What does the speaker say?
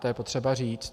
To je potřeba říct.